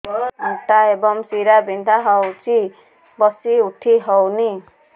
ଅଣ୍ଟା ଏବଂ ଶୀରା ବିନ୍ଧା ହେଉଛି ବସି ଉଠି ହଉନି